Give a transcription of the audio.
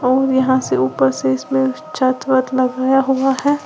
और यहां से ऊपर से इसमें छत वत लगाया हुआ है।